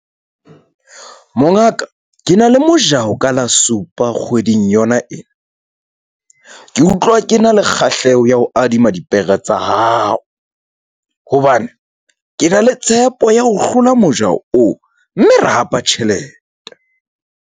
Mongaka ke na le mojaho ka la supa kgweding yona ena. Ke utlwa ke na le kgahleho ya ho adima dipere tsa hao hobane, ke na le tshepo ya ho hlola mojaho oo mme re hapa tjhelete.